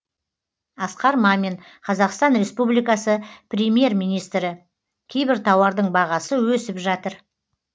асқар мамин қазақстан республикасы премьер министрі кейбір тауардың бағасы өсіп жатыр